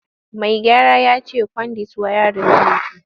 Mai gyaran ya ce kwandit wayarin zai fi.